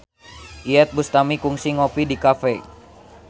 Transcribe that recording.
Iyeth Bustami kungsi ngopi di cafe